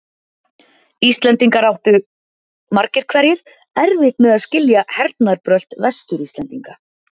Íslendingar áttu, margir hverjir, erfitt með að skilja hernaðarbrölt Vestur-Íslendinga.